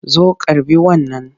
Zo karɓi wannan!